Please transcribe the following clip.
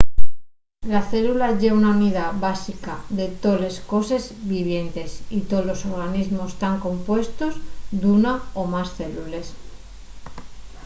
la célula ye la unidá básica de toles coses vivientes y tolos organismos tán compuestos d’una o más célules